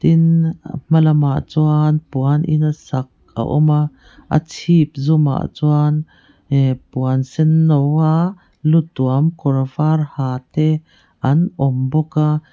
tin a hma lamah chuan puan in a sak a awm a a chhip zum ah chuan puan senno a lu tuam kawr var ha te an awm bawk a.